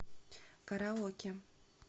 караоке